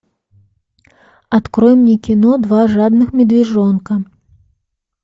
открой мне кино два жадных медвежонка